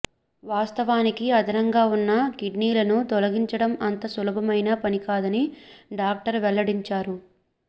వాస్తవానికి అదనంగా ఉన్న కిడ్నీలను తొలగించడం అంత సులభమైన పనికాదని డాక్టర్ వెల్లడించారు